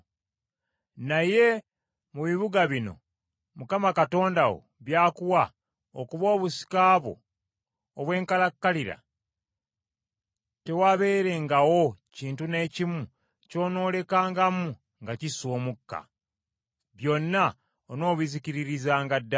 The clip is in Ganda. Naye mu bibuga bino Mukama Katonda wo by’akuwa okuba obusika bwo obw’enkalakkalira, tewaabeerengawo kintu n’ekimu ky’onoolekangamu nga kissa omukka, byonna onoobizikiririzanga ddala.